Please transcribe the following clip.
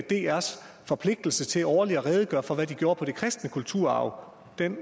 drs forpligtelse til årligt at redegøre for hvad de gjorde med til den kristne kulturarv den